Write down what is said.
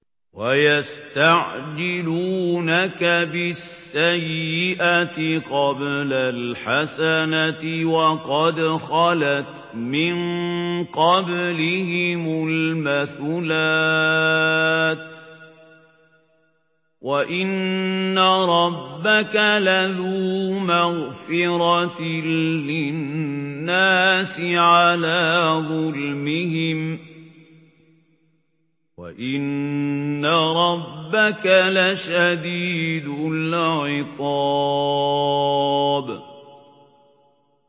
وَيَسْتَعْجِلُونَكَ بِالسَّيِّئَةِ قَبْلَ الْحَسَنَةِ وَقَدْ خَلَتْ مِن قَبْلِهِمُ الْمَثُلَاتُ ۗ وَإِنَّ رَبَّكَ لَذُو مَغْفِرَةٍ لِّلنَّاسِ عَلَىٰ ظُلْمِهِمْ ۖ وَإِنَّ رَبَّكَ لَشَدِيدُ الْعِقَابِ